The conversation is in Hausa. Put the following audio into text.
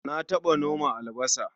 Na taɓa noma albasa.